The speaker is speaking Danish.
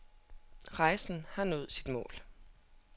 Rejsen har nået sit mål.